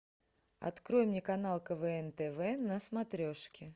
открой мне канал квн тв на смотрешке